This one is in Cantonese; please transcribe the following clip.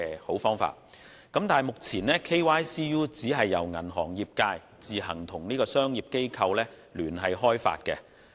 可是，現時的 KYCU 由銀行業自行與專業機構聯手開發。